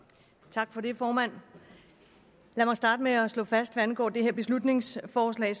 tak for det formand lad mig starte med at slå fast at hvad angår det her beslutningsforslag